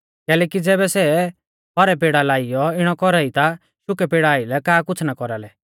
कैलैकि ज़ैबै सै हौरै पेड़ा आइलै इणौ कौरा ई ता शुकै पेड़ा आइलै का कुछ़ ना कौरालै